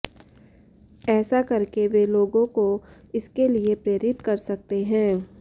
ऐसा करके वे लोगों को इसके लिए प्रेरित कर सकते हैं